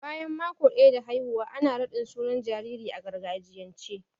Bayan maƙo daya da haihuwa ana raɗin sunan jaririn a gargajiyance.